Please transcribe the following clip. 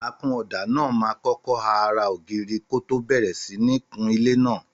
Àkúnọdà nà mà ọkọ à àrá ògirí kọ tọ bẹẹrẹ sín ní kún ìlẹ nà.